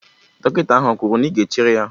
Dọkịta ahụ kwuru na ị ga-echere ya?